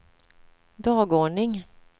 dagordning